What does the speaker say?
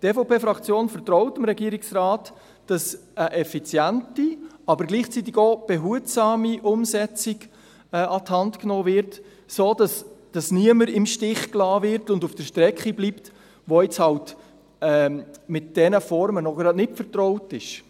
Die EVP-Fraktion vertraut dem Regierungsrat darin, dass eine effiziente, aber gleichzeitig auch behutsame Umsetzung an die Hand genommen wird, sodass niemand im Stich gelassen wird und auf der Strecke bleibt, der jetzt mit diesen Formen halt noch nicht vertraut ist.